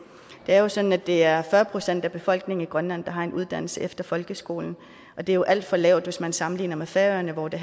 er sådan at det er fyrre procent af befolkningen i grønland der har en uddannelse efter folkeskolen og det er jo et alt for lavt tal hvis man sammenligner med færøerne hvor det